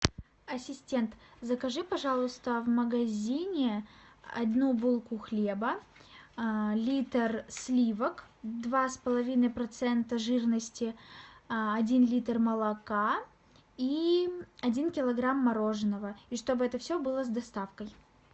ассистент закажи пожалуйста в магазине одну булку хлеба литр сливок два с половиной процента жирности один литр молока и один килограмм мороженного и чтобы это все было с доставкой